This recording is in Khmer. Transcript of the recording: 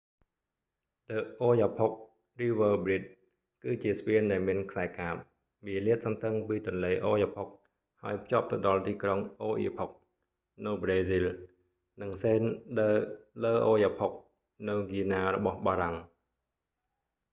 ដឹ អូយ៉ាផុក រីវើរប្រ៊ីជ the oyapock river bride គឺជាស្ពានដែលមានខ្សែកាប វាលាតសន្ធឹងពីទន្លេអូយ៉ាផុក oyapock ហើយភ្ជាប់ទៅដល់ទីក្រុងអូអៀផុក oiapoque នៅប្រេស៊ីលនិងសេនថ៍ ដឺ ឡឺអូយ៉ាផុក saint-georges de l'oyapock នៅ guiana របស់បារាំង